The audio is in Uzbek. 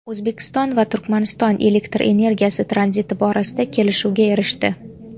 O‘zbekiston va Turkmaniston elektr energiyasi tranziti borasida kelishuvga erishdi.